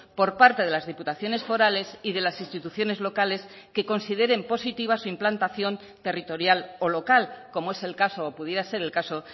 por parte de las diputaciones forales y de las instituciones locales que consideren positiva su implantación territorial o local como es el caso o pudiera ser el caso